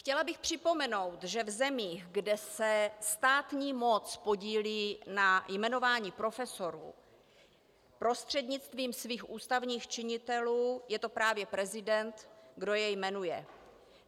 Chtěla bych připomenout, že v zemích, kde se státní moc podílí na jmenování profesorů prostřednictvím svých ústavních činitelů, je to právě prezident, kdo je jmenuje.